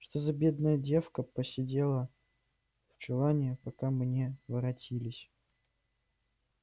за что бедная девка просидела в чулане пока мы не воротились